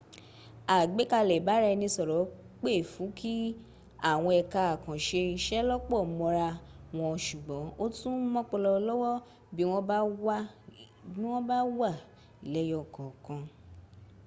àgbékalẹ̀ ìbáraẹnisọ̀rọ̀ pè fú kí àwọn ẹka àkànṣe iṣẹ́ lọ́pọ̀ mọ́ra wọn sùgbọ́n ó tún mọ́pọlọ lọ́wọ́ bí wọ́n bá wà lẹ́yọkọ̀ọ̀kan